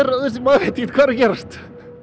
maður veit ekkert hvað er að gerast